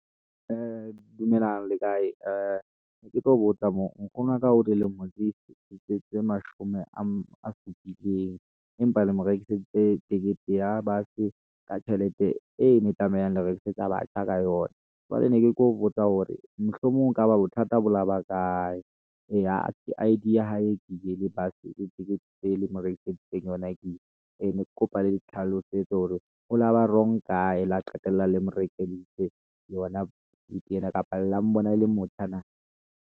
Dumelang, le kae? ne ketlo botsa mo nkgono wa ka o dilemo di tse mashome a supileng empa le mo rekiseditse tekete ya bus-e ka tjhelete e ne tlameha le rekisetsa batjha ka yona. Jwale ne ke tlo botsa hore mohlomong e kaba bothata bo laba kae? ee, ha e I_D ya hae ke e le bus ticket e le mo rekiseditseng yona ke e, ee ne ke kopa le nhlalosetse hore ho laba wrong kae? la qetella le morekiseditse yona ticket ena kapa lela la mbona e le motjhana na?